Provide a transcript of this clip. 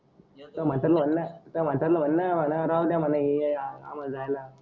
मी आता म्हणताना म्हणणार आता म्हणताना म्हणणार राहूद्या मला हे आम्हाला जायला.